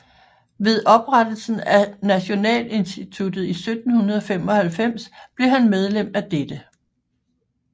Ved oprettelsen af Nationalinstituttet i 1795 blev han medlem af dette